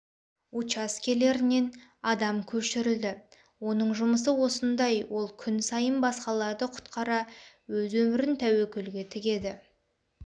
учаскелерінен адам көшірілді оның жұмысы осындай ол күн сайын басқаларды құтқара өз өмірін тәуекелге тігеді